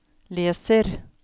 leser